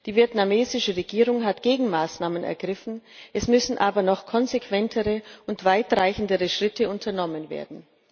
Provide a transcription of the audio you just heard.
Die vietnamesische Regierung hat Gegenmaßnahmen ergriffen, es müssen aber noch konsequentere und weitreichendere Schritte unternommen werden.